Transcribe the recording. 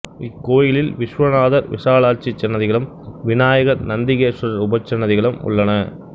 இக்கோயிலில் விஸ்வநாதர் விசலாட்சி சன்னதிகளும் விநாயகர் நந்திகேஸ்வரர் உபசன்னதிகளும் உள்ளன